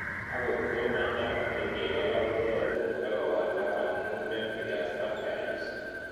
Ag'ot ko machang' ko kerichek alak koyae porto ko walak amu pemiphigus vulgaris